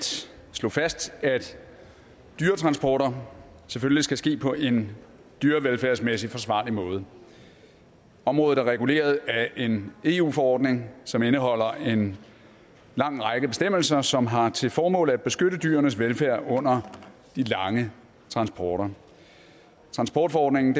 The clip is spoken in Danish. slå fast at dyretransporter selvfølgelig skal ske på en dyrevelfærdsmæssig forsvarlig måde området er reguleret af en eu forordning som indeholder en lang række bestemmelser som har til formål at beskytte dyrenes velfærd under de lange transporter transportforordningen